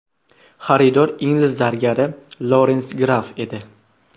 Xaridor ingliz zargari Lorens Graff edi.